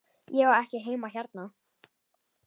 Ég á ekki heima hérna.